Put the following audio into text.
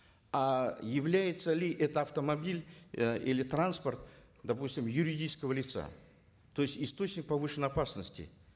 а является ли этот автомобиль э или транспорт допустим юридического лица то есть источник повышенной опасности